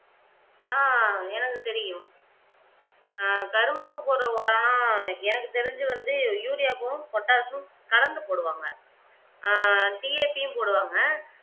ஆஹ் எனக்கு தெரியும் ஆஹ் கரும்புக்கு போடுற ஒரணா எனக்கு தெரிஞ்சு வந்து வும் பொட்டாசும் கலந்து போடுவாங்க ஆஹ் போடுவாங்க